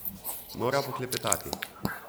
Mora poklepetati.